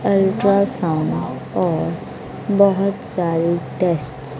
ultrasound और बहोत सारी टेस्ट्स --